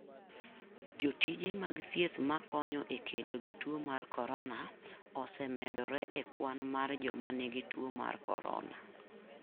Jotije mag thieth makonyo e kedo gi tuo mar korona osemedore e kwan mar joma nigi tuo mar korona.